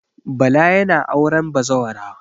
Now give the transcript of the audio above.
Bala yana auren bazawara.